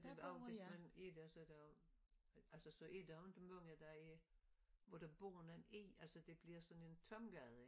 Men også hvis man er der så der jo altså så er der jo ikke mange der er hvor der bor nogen i altså det bliver sådan en tom gade